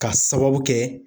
Ka sababu kɛ